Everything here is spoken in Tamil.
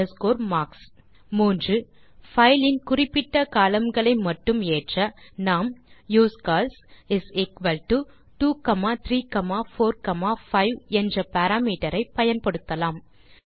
மற்றும் கடைசியாக பைலின் குறிப்பிட்ட கோலம்ன் களை மட்டும் ஏற்ற நாம் யூஸ்கால்ஸ் இஸ் எக்குவல் டோ 2345 என்ற பாராமீட்டர் ஐ பயன்படுத்தலாம்